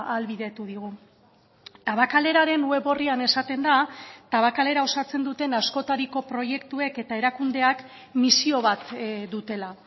ahalbidetu digu tabakaleraren web orrian esaten da tabakalera osatzen duten askotariko proiektuek eta erakundeak misio bat dutela